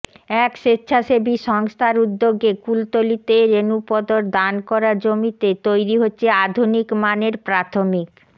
এক স্বেচ্ছাসেবী সংস্থার উদ্যোগে কুলতলিতে রেণুপদর দান করা জমিতে তৈরি হচ্ছে আধুনিক মানের প্রাথমিক